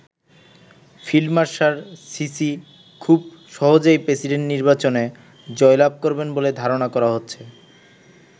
Field marshal Sisi খুব সহজেই president নির্বাচনে জয়লাভ করবেন বলে ধারণা করা হচ্ছে।